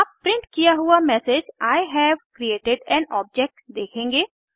आप प्रिंट किया हुआ message I have created an object देखेंगे